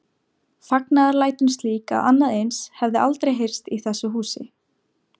Fagnaðarlætin slík að annað eins hafði aldrei heyrst í þessu húsi.